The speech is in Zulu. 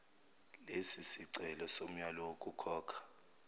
lesisicelo somyalo wokukhokha